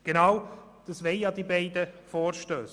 Genau dies wollen die beiden Vorstösse.